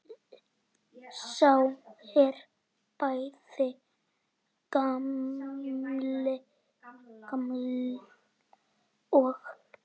Sá er bæði gamall og.